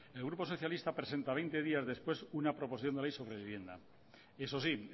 el grupo socialista presenta veinte días después una proposición de ley sobre vivienda eso sí